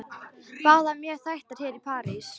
Báðar mjög þekktar hér í París.